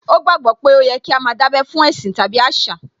Ó gbàgbó pé ó yẹ kí á má a dábẹ́ fún ẹ̀sìn tàbí àṣà